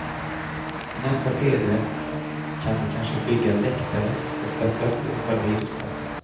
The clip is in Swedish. I nästa skede kan vi kanske bygga läktare och bättra på själva idrottsplatsen.